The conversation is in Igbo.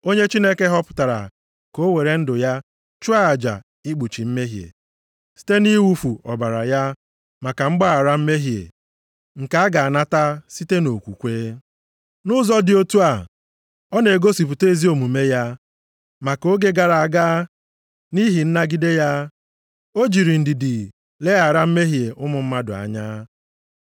Onye Chineke họpụtara ka o were ndụ ya chụọ aja ikpuchi mmehie, site nʼiwufu ọbara ya maka mgbaghara mmehie, nke a ga-anata site nʼokwukwe. Nʼụzọ dị otu a, ọ na-egosipụta ezi omume ya, maka oge gara aga, nʼihi nnagide ya, o jiri ndidi leghara mmehie ụmụ mmadụ anya.